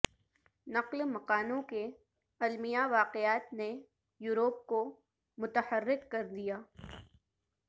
نقل مکانوں کے المیہ واقعات نے یورپ کو متحرک کر دیا